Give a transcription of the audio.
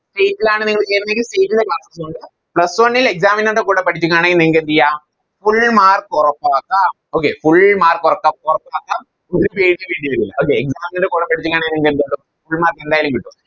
State ലാണ് നിങ്ങൾ ചേരുന്നതെങ്കിൽ ളു Plus one ൽ Exam നുകളുടെ കൂടെ പഠിപ്പിക്കുവാണെങ്കിൽ നിങ്ങൾക്കെന്തെയ്യം Full mark ഉറപ്പാക്കാം Okay full mark ഉറ ഉറപ്പാക്കാം ഒര് Page വേണ്ടി വരില്ല അ വേ Exam ൻറെ കൂടെ പഠിപ്പിക്കാണെ Full mark എന്തായാലും കിട്ടും